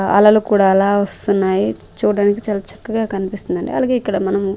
అలలు కూడా అలా వస్తున్నాయ్ చూడ్డానికి చాలా చక్కగా కనిపిస్తుందండి అలాగే ఇక్కడ మనము--